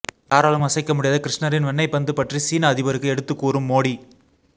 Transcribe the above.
யாராலும் அசைக்க முடியாத கிருஷ்ணரின் வெண்ணை பந்து பற்றி சீன அதிபருக்கு எடுத்து கூறும் மோடி